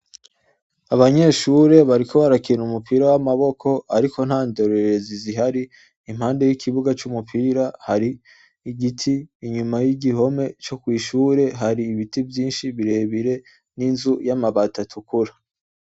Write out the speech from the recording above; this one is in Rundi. Abanyeshuri bariko barakina umupira w'amaboko, ariko nta ndorerezi zihari, impande y'ikibuga c'umupira har'igiti, inyuma y'igihome co kw'ishure har'ibiti vyinshi birebire n'inzu y'amabati atukura.